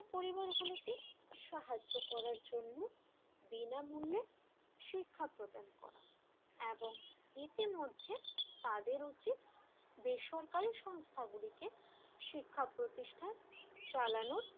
সাহায্য করার জন্য বিনামূল্যে শিক্ষা প্রদান করা এবং ইতিমধ্যে তাদের উচিত বেসরকারি সংস্থান গলিতে শিক্ষাপ্রতিষ্ঠান চালানোর,